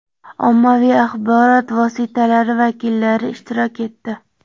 ommaviy axborot vositalari vakillari ishtirok etdi.